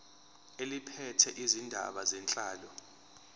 eliphethe izindaba zenhlalo